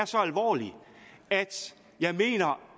så alvorlig at jeg mener